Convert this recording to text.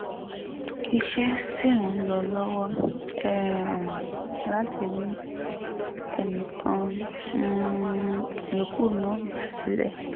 iṣẹ́ sì ń lọ lọ́wọ́ um láti rí ẹnì kan um yòókù náà gbà sílé